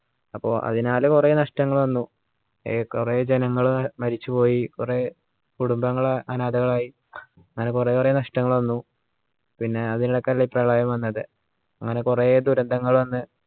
അപ്പോ അതിനാൽ കുറെ നഷ്ടങ്ങൾ വന്നു എ കുറെ ജനങ്ങള് മരിച്ചുപോയി കുറേ കുടുംബങ്ങള് അനാഥരായ് അങ്ങനെ കുറെ കുറെ നഷ്ടങ്ങൾ വന്നു പിന്നെ അതിൻറെ ഇടക്കല്ലേ പ്രളയം വന്നത് അങ്ങനെ കുറെ ദുരന്തങ്ങൾ വന്ന്